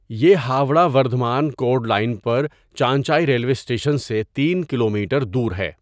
یہ Howrah Bardhaman chord line پر Chanchai railway station سے تین کلومیٹر دور ہے.